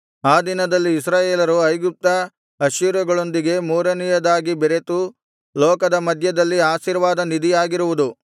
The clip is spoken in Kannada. ಆ ದಿನದಲ್ಲಿ ಇಸ್ರಾಯೇಲರು ಐಗುಪ್ತ ಅಶ್ಶೂರಗಳೊಂದಿಗೆ ಮೂರನೆಯದಾಗಿ ಬೆರೆತು ಲೋಕದ ಮಧ್ಯದಲ್ಲಿ ಆಶೀರ್ವಾದ ನಿಧಿಯಾಗಿರುವುದು